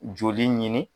Joli ɲini